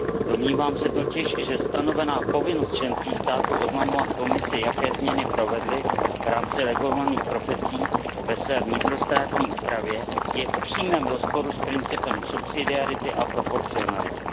Domnívám se totiž, že stanovená povinnost členských států oznamovat Komisi, jaké změny provedly v rámci regulovaných profesí ve své vnitrostátní úpravě, je v přímém rozporu s principem subsidiarity a proporcionality.